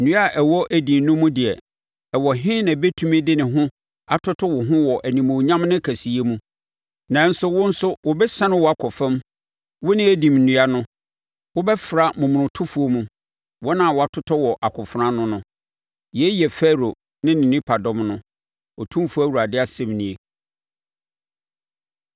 “ ‘Nnua a ɛwɔ Eden no mu deɛ ɛwɔ he na ɛbɛtumi de ne ho atoto wo ho wɔ animuonyam ne kɛseyɛ mu? Nanso, wo nso wɔbɛsiane wo akɔ fam, wo ne Eden nnua no. Wobɛfra momonotofoɔ mu, wɔn a wɔatotɔ wɔ akofena ano no. “ ‘Yei yɛ Farao ne ne nipadɔm no, Otumfoɔ Awurade asɛm nie.’ ”